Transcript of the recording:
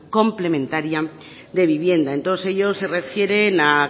complementaria de vivienda en todos ellos se refieren a